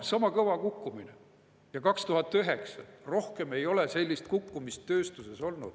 Sama kõva kukkumine kui 2009, rohkem ei ole sellist kukkumist tööstuses olnud.